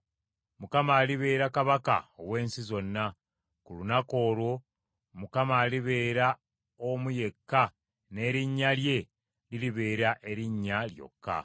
Mukama alibeera kabaka ow’ensi zonna: ku lunaku olwo Mukama alibeera omu yekka n’erinnya lye liribeera erinnya lyokka.